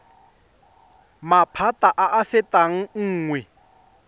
maphata a a fetang nngwe